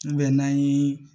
n'an ye